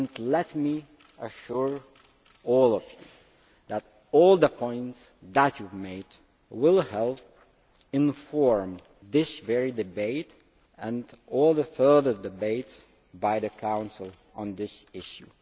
Let me assure all of you that all the points that you have made will help inform this very debate and all further debates by the Council on this issue.